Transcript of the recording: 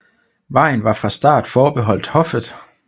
Vejen var fra start forbeholdt hoffet